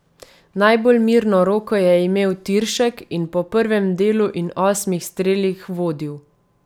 Najbolj mirno roko je imel Tiršek in po prvem delu in osmih strelih vodil.